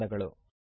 ಧನ್ಯವಾದಗಳು